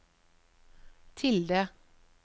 tilde